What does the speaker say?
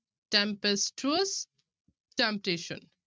Tempestuous, temptation